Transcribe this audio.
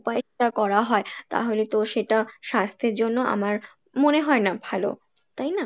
উপায়ে করা হয়, তাহলে তো সেটা স্বাস্থ্যের জন্য আমার মনে হয়না ভালো, তাই না?